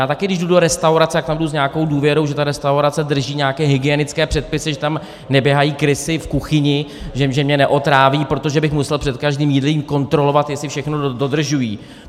Já taky když jdu do restaurace, tak tam jdu s nějakou důvěrou, že ta restaurace drží nějaké hygienické předpisy, že tam neběhají krysy v kuchyni, že mě neotráví, protože bych musel před každým jídlem kontrolovat, jestli všechno dodržují.